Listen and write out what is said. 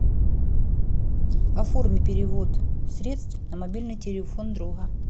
оформи перевод средств на мобильный телефон друга